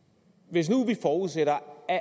hvis nu vi forudsætter at